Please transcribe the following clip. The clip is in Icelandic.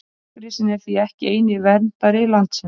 bergrisinn er því ekki eini verndari landsins